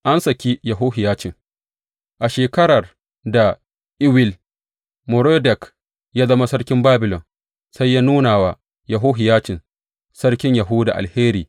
An saki Yehohiyacin A shekarar da Ewil Merodak ya zama Sarkin Babilon, sai ya nuna wa Yehohiyacin Sarkin Yahuda alheri.